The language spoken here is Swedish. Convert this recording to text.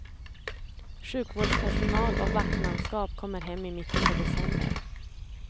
Sjukvårdspersonal och vaktmanskap kommer hem i mitten på december.